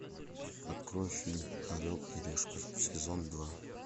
открой фильм орел и решка сезон два